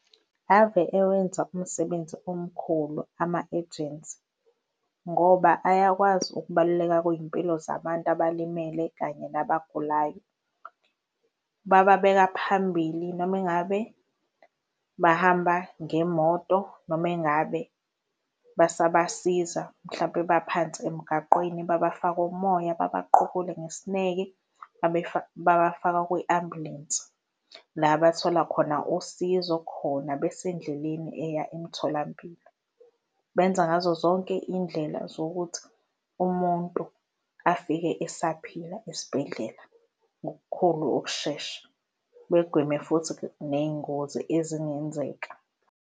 Ave ewenza umsebenzi omkhulu ama-ejensi ngoba ayakwazi ukubaluleka kwey'mpilo zabantu abalimele kanye nabagulayo. Bababeka phambili noma ingabe bahamba ngemoto noma ingabe basabasiza mhlawumpe baphansi emgaqweni babafaka umoya, babaqukule ngesineke, babafaka kwi-ambulensi, la bethola khona usizo khona besendleleni eya emtholampilo. Benza ngazo zonke iy'ndlela zokuthi umuntu afike esaphila esibhedlela ngokukhulu ukushesha, begweme futhi ney'ngozi ezingenzeka.